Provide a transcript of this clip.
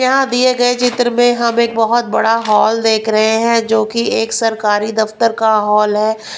यहां दिए गए चित्र में हम एक बहुत बड़ा हॉल देख रहे हैं जो कि एक सरकारी दफ्तर का हॉल है.